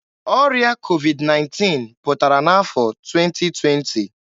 Ọrịa COVID-19 pụtara n'afọ 2020.